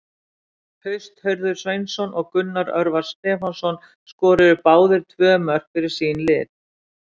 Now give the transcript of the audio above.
Haust Hörður Sveinsson og Gunnar Örvar Stefánsson skoruðu báðir tvö mörk fyrir sín lið.